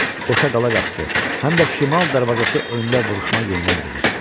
Qoşaqala qapısı, həm də şimal darvazası önündə vuruşma yenidən qızışdı.